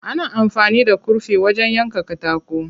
Ana amfani da kurfi wajen yanka katako.